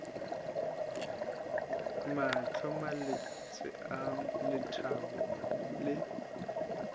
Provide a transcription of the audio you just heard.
mahlo malwetse a letlalo le